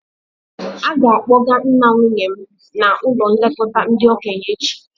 A ga-akpọga nna nwunye m n'ụlọ nlekọta ndị okenye echi